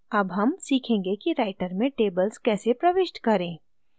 अब हम सीखेंगे कि writer में tables कैसे प्रविष्ट करें